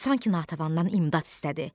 Sanki Natəvandan imdad istədi.